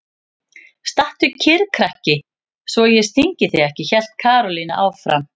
Stattu kyrr krakki svo ég stingi þig ekki! hélt Karólína áfram.